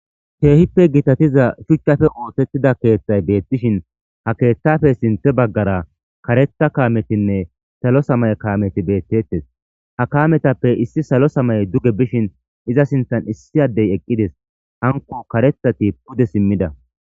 keehippe gitatiza shuchchafe ootettida keeththay beettishin ha keeththafe sinthe baggara kareta kaametinne salo samay kaameti beettettes ha kametappe issi salo samay duge bishin iza sintan issi addey eqqides hanko karethati pude simmida